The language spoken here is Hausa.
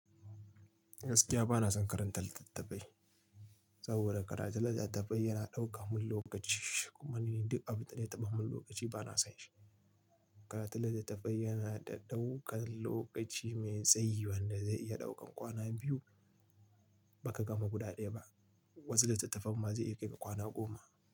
Gaskiya bana son karanta littattafai saboda karatun littattafai yana ɗauka min lokaci kuma ni duk abu da ya taɓa min lokaci bana son shi. Karatun littattafai yana da daukan lokaci mai tsayi wanda zai iya ɗaukan kwana biyu ba ka gama guda ɗaya ba, wasu littattafan ma zai iya kai kwana goma.